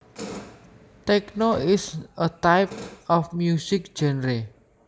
Techno is a type of music genre